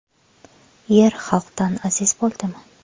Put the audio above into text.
Yer xalqdan aziz bo‘libdimi?